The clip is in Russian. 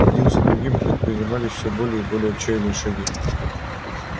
один за другим предпринимались всё более и более отчаянные шаги